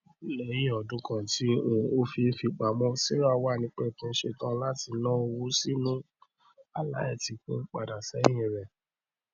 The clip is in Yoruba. lẹyìn ọdún kan tí um ó fi ń fipamọ sarah wà nípẹkun setán láti ná owó sínú alá etìkun padàṣẹhìn rẹ